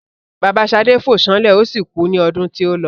Bàbá Ṣadé fó sánlè o si kú ní ọdún tí ólọ